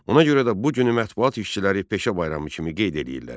Ona görə də bu günü mətbuat işçiləri peşə bayramı kimi qeyd eləyirlər.